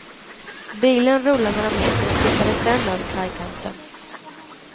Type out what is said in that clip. Bilen rullade några meter och tippade sedan över kajkanten.